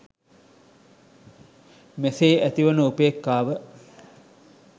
මෙසේ ඇතිවන උපේක්ඛාව